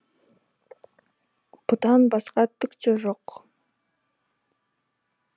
бұдан басқа түк те жоқ